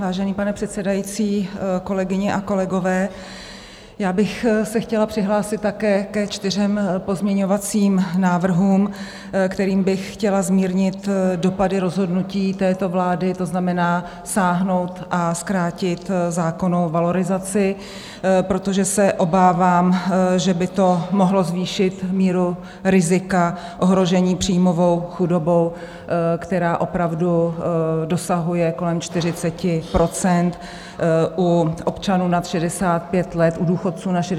Vážený pane předsedající, kolegyně a kolegové, já bych se chtěla přihlásit také ke čtyřem pozměňovacím návrhům, kterými bych chtěla zmírnit dopady rozhodnutí této vlády, to znamená sáhnout a zkrátit zákonnou valorizaci, protože se obávám, že by to mohlo zvýšit míru rizika ohrožení příjmovou chudobou, která opravdu dosahuje kolem 40 % u občanů nad 65 let, u důchodců nad 65 let.